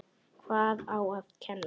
Hvað á að kenna?